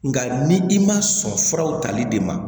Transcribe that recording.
Nka ni i ma sɔn furaw tali de ma